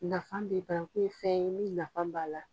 Nafa bɛ ban ko fɛn min nafa b'a la.